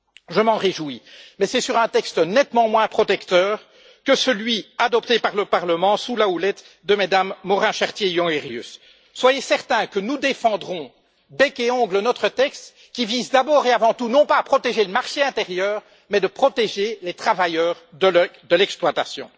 Je m'en réjouis, mais c'est sur un texte nettement moins protecteur que celui adopté par le Parlement sous la houlette de Mmes Morin Chartier et Jongerius. Soyez certains que nous défendrons bec et ongles notre texte, qui vise d'abord et avant tout non pas à protéger le marché intérieur, mais à protéger les travailleurs de l'exploitation.